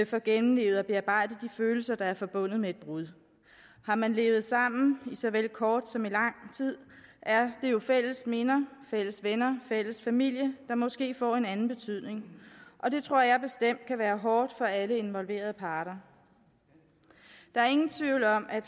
får gennemlevet og bearbejdet de følelser der er forbundet med et brud har man levet sammen i såvel kort som lang tid er det jo fælles minder fælles venner fælles familie der måske får en anden betydning og det tror jeg bestemt kan være hårdt for alle involverede parter der er ingen tvivl om at